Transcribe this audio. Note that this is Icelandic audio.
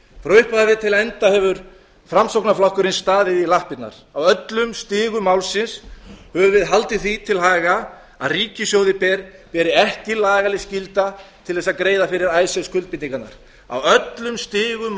frá upphafi til enda hefur framsóknarflokkurinn staðið í lappirnar á öllum stigum málsins höfum við haldið því til haga að ríkissjóði beri ekki lagaleg skylda til þess að greiða fyrir icesave skuldbindingarnar á öllum stigum